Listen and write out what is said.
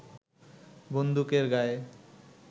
বন্দুকের গায়ে